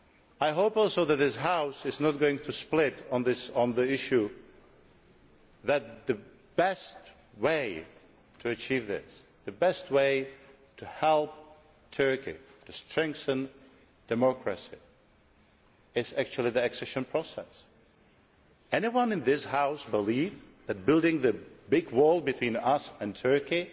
I also hope that this House is not going to split on the issue that the best way to achieve this, the best way to help Turkey, to strengthen democracy, is actually the accession process. Does anyone in this House believe that building a big wall between us and Turkey